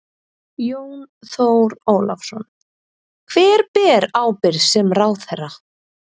Jón Þór Ólafsson: Hver ber ábyrgð sem ráðherra?